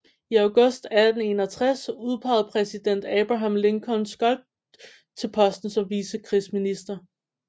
I august 1861 udpegede præsident Abraham Lincoln Scott til posten som vicekrigsminister